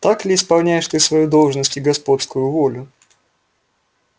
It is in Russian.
так ли исполняешь ты свою должность и господскую волю